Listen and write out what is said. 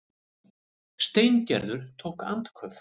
Steingerður tók andköf.